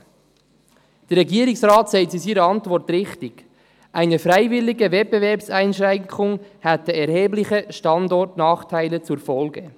Der Regierungsrat sagt in seiner Antwort zu Recht, «eine freiwillige Wettbewerbseinschränkung hätte erhebliche Standortnachteile zur Folge.